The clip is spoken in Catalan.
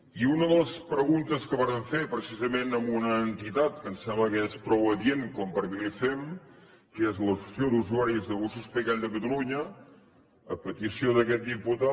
i una de les preguntes que vàrem fer precisament a una entitat que em sembla que és prou adient perquè li fem que és l’associació d’usuaris de gossos pigall de catalunya a petició d’aquest diputat